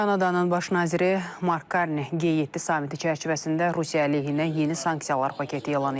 Kanadanın baş naziri Mark Karni G7 sammiti çərçivəsində Rusiya əleyhinə yeni sanksiyalar paketi elan edib.